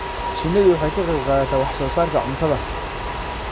Shinnidu waxay ka qayb qaadataa wax soo saarka cuntada.